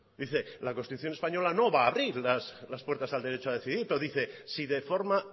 dice la constitución española no va a abrir las puertas al derecho a decir pero dice si de forma